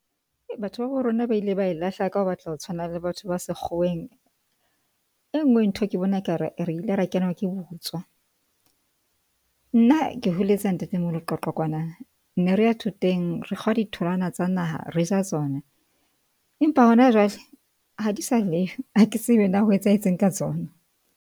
Batho ba bo rona ba ile ba lahla ka ho batla, ho tshwana le batho ba sekgoweng. E nngwe ntho ke bona e ka re, re ile ra kenwa ke botswa. Nna ke holetse ha ntate moholo Qwaqwa kwana. Ne re ya thoteng. Re kgwa ditholwana tsa naha re ja tsona, empa hona jwale ha di sa leyo ha ke tsebe na ho etsahetseng ka tsona.